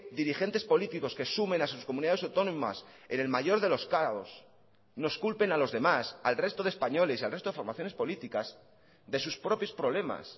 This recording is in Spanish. dirigentes políticos que sumen a sus comunidades autónomas en el mayor de los caos nos culpen a los demás al resto de españoles y al resto de formaciones políticas de sus propios problemas